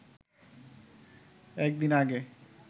একদিন আগে